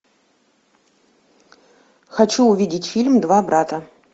хочу увидеть фильм два брата